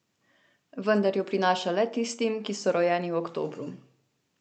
Vendar jo prinaša le tistim, ki so rojeni v oktobru.